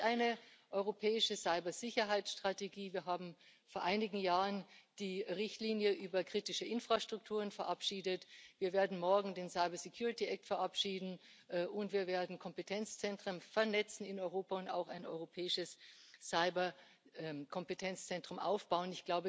Es gibt eine europäische Cybersicherheitsstrategie, wir haben vor einigen Jahren die Richtlinie über kritische Infrastrukturen verabschiedet, wir werden morgen den Cyber Security Act verabschieden, und wir werden Kompetenzzentren in Europa vernetzen und auch ein europäisches Cyber Kompetenzzentrum aufbauen.